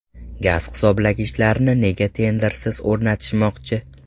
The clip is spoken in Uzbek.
Gaz hisoblagichlarni nega tendersiz o‘rnatishmoqchi?